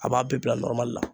A b'a bɛɛ bila nɔrɔmli la